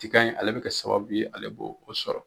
Tiga in ale bɛ kɛ sababu ye ale bɛ o sɔrɔ